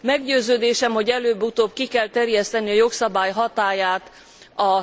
Meggyőződésem, hogy előbb utóbb ki kell terjeszteni a jogszabály hatályát a